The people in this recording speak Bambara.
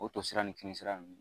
O tosira nun ni kinisira nun.